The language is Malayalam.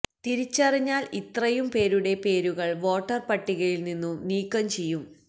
തിരിച്ചറിഞ്ഞാൽ ഇത്രയും പേരുടെ പേരുകൾ വോട്ടർപട്ടികയിൽ നിന്നും നീക്കം ചെയ്യും